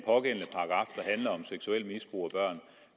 handler om seksuelt misbrug